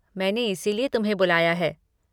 मैंने इसीलिए तुम्हें बुलाया है।